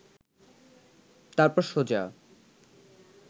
তারপর সোজা